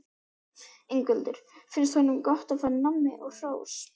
Ingveldur: Finnst honum gott að fá nammi og hrós?